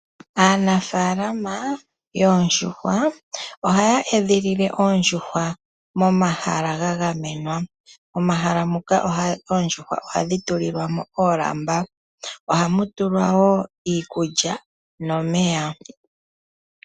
Aanafaalama mbo haa tekula oondjuhwa oha ye dhi edhilile momahala gagamenwa. Ohadhi tulilwa mo oolamba, iikulya nomeya.